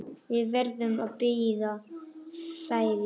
Við verðum að bíða færis.